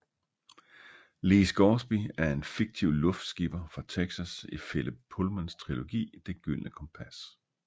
Lee Scoresby er en fiktiv luftskipper fra Texas i Philip Pullmans trilogi Det gyldne kompas